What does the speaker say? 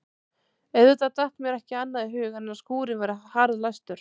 Auðvitað datt mér ekki annað í hug en að skúrinn væri harðlæstur.